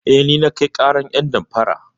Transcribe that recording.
Eh, ni na kai ƙarar ƴan damfaran.